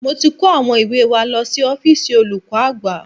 Mo ti kó àwọn ìwé wa lọ sí ọ́fíìsì olùkọ́ àgbà